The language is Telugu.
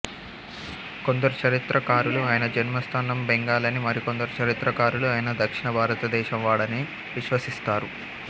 కొందరు చరిత్ర కారులు ఆయన జన్మస్థానం బెంగాల్ అనీ మరికొందరు చరిత్రకారులు ఆయన దక్షిణ భారత దేశం వాడని విశ్వసిస్తారు